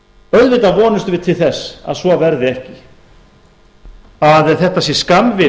auðvitað vonumst við til þess að svo verði ekki að þetta sé skammvinn